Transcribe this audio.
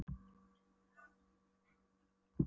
Smári stöðvaði hersinguna með uppréttri hendi og ópum.